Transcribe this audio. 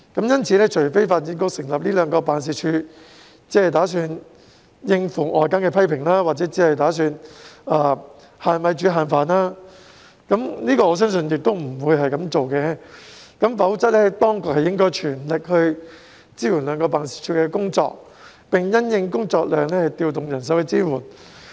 因此，除非發展局成立這兩個辦事處只為應付外間的批評或是"限米煮限飯"——但我相信不會是這樣的——否則當局應全力支援兩個辦事處的工作，並因應工作量調動人手支援。